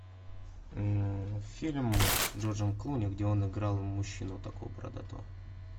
фильм с джорджем клуни где он играл мужчину такого бородатого